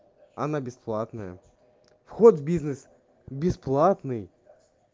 она бесплатная вход в бизнес бесплатный